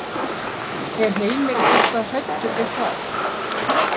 Er Heimir eitthvað hræddur við það?